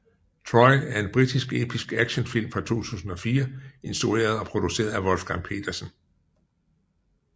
Troy er en britisk episk actionfilm fra 2004 instrueret og produceret af Wolfgang Petersen